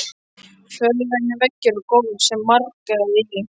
Fölgrænir veggir og gólf sem marraði í.